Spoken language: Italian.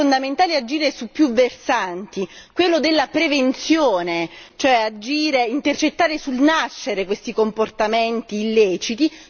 E allora è fondamentale agire su più versanti quello della prevenzione, cioè agire, intercettando sul nascere questi comportamenti illeciti